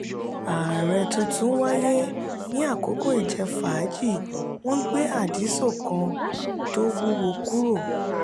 ààrẹ tuntun wáyé ní àkókò ìjẹ-fàájì wọn gbé adíso kan tó wúwo kúrò.